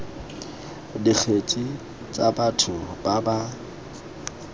dikgetse tsa batho ba ba